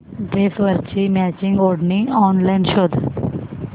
ड्रेसवरची मॅचिंग ओढणी ऑनलाइन शोध